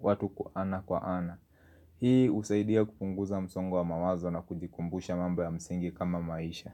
watu kwa ana kwa ana. Hii usaidia kupunguza msongo mawazo na kujikumbusha mambo ya msingi kama maisha.